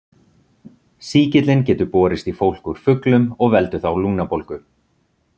Sýkillinn getur borist í fólk úr fuglum og veldur þá lungnabólgu.